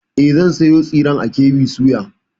E, zan sayo tsiren a KB soya.